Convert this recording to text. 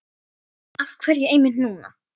Af hverju einmitt núna?